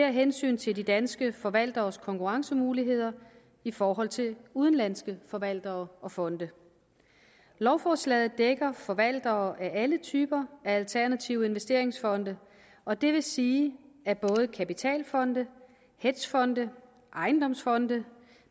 af hensyn til de danske forvalteres konkurrencemuligheder i forhold til udenlandske forvaltere og fonde lovforslaget dækker forvaltere af alle typer af alternative investeringsfonde og det vil sige at både kapitalfonde hedgefonde ejendomsfonde